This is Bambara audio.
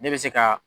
Ne bɛ se ka